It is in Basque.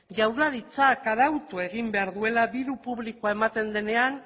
jaurlaritzak arautu egin behar duela diru publikoa ematen denean